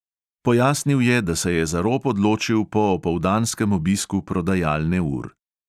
Pojasnil je, da se je za rop odločil po opoldanskem obisku prodajalne ur.